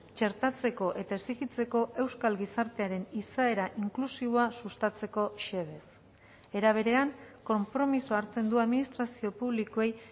txertatzeko eta exijitzeko euskal gizartearen izaera inklusiboa sustatzeko xedez era berean konpromisoa hartzen du administrazio publikoei